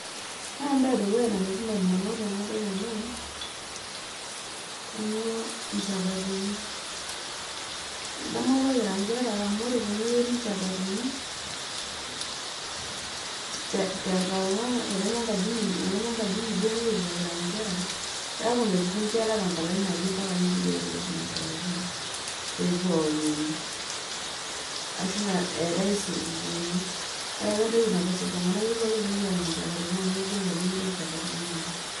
Ore embae edukuya nalotu indamunot tenadol ena amu ilnychapatini, adamu apa kira inkere amu ore teneyieri ilnychapatini te tenkang ang teneme ekaji inyi duo nayierita kira inkera ,keaku mepuku inkera tenkalo ina aaji ompaka neidipa aateyier nena shapatini pepuo aomonu . ashu eetae isupukuuni ,ore apa entoki namus iltunganak naa kepuo ake pepuo anya ilychapatin amu kegol apa eyieri inychapataini oleng.